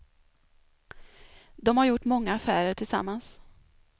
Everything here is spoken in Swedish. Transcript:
De har gjort många affärer tillsammans.